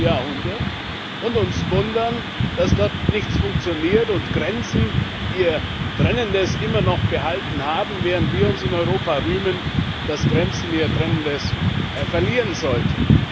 19.Jahrhundert und uns wundern, dass dort nichts funktioniert und Grenzen ihr Trennendes immer noch behalten haben, während wir uns in Europa rühmen, dass Grenzen ihr Trennendes verlieren sollten.